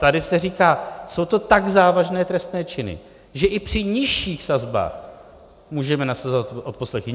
Tady se říká, jsou to tak závažné trestné činy, že i při nižších sazbách můžeme nasazovat odposlechy.